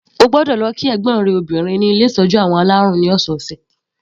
O gbọ́dọ̀ lọ kí ẹ̀gbọ́n rẹ obìnrin ní ilé ìtọ́jú àwọn alárùn ní ọ̀sọ̀ọ̀sẹ̀.